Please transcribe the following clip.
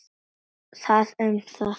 Það um það.